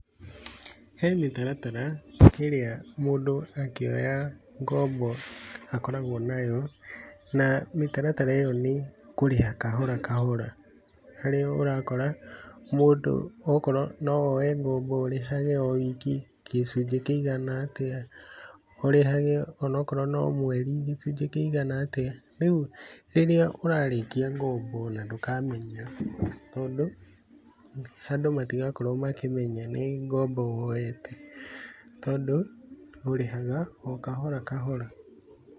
He mĩtaratara ĩrĩa mũndũ akĩoya ngombo, akoragũo nayo, na mĩtaratara ĩyo nĩ, kũrĩha kahora kahora. Harĩa ũrakora, mũndũ okorũo no woe ngombo ũrĩhage o wiki gĩcunjĩ kĩigana atĩa, ũrĩhage onokorwo no mweri gĩcunjĩ kĩigana atĩa, rĩu rĩrĩa ũrarĩkia ngombo ona ndũkamenya, tondũ, andũ matigakorwo makĩmenya nĩ ngombo woete, tondũ ũrĩhaga o kahora kahora.